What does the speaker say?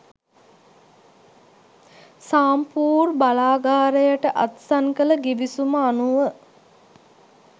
සාම්පූර් බලාගාරයට අත්සන් කළ ගිවිසුම අනුව